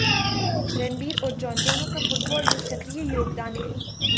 रणबीर और जॉन दोनों का फुटबाल में सक्रिय योगदान है